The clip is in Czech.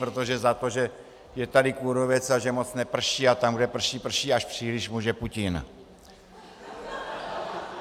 Protože za to, že je tady kůrovec a že moc neprší a tam, kde prší, prší až příliš, může Putin.